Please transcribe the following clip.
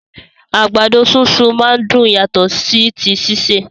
Àgbàdo súnsun máa n dùn yàtọ̀ sí ti sise.